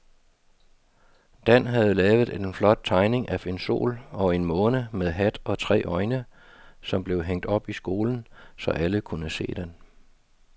Dan havde lavet en flot tegning af en sol og en måne med hat og tre øjne, som blev hængt op i skolen, så alle kunne se den.